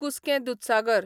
कुसकें दूदसागर